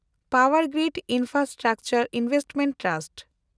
Powergrid in